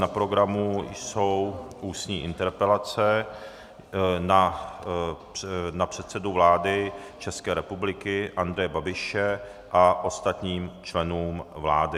Na programu jsou ústní interpelace na předsedu vlády České republiky Andreje Babiše a ostatní členy vlády.